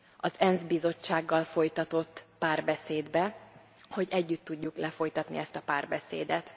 az ENSZ bizottsággal folytatott párbeszédbe, hogy együtt tudjuk lefolytatni ezt a párbeszédet.